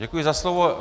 Děkuji za slovo.